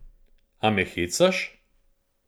A me hecaš?